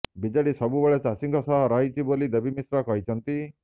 BJD ସବୁବେଳେ ଚାଷୀଙ୍କ ସହ ରହିଛି ବୋଲି ଦେବୀ ମିଶ୍ର କହିଛନ୍ତି